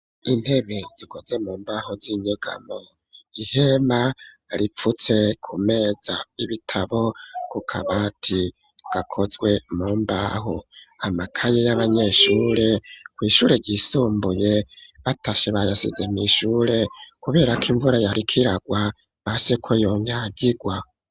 Intebe zikoze mu mbaho z'inyegamo ihema ripfutse ku meza ibitabo ku kabati gakozwe mu mbaho amakaye y'abanyeshure kw'ishure ryisumbuye batashe bayasize mw'ishure kuberako imvura yarikiragwa baseko yonyagigwa.